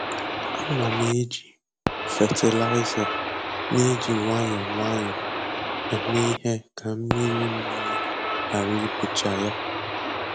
Ana m eji fatịlaịza na-eji nwayọọ nwayọọ eme ihe ka mmiri mmiri ghara ibucha ya.